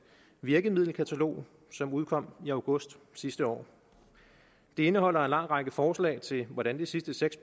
virkemiddelkatalog som udkom i august sidste år det indeholder en lang række forslag til hvordan de sidste seks